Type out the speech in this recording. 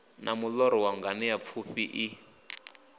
na muṱoḓo wa nganeapfufhi i